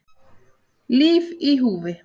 Líf í húfi